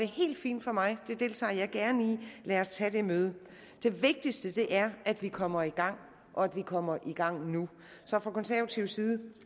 helt fint for mig det deltager jeg gerne i lad os tage det møde det vigtigste er at vi kommer i gang og at vi kommer i gang nu så fra konservativ side